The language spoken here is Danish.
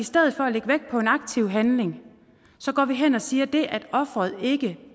stedet for at lægge vægt på en aktiv handling går vi hen og siger at det at ofret ikke